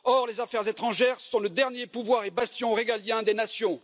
Or, les affaires étrangères sont le dernier pouvoir et bastion régalien des nations.